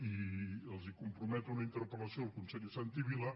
i comprometo una interpel·lació al conseller santi vila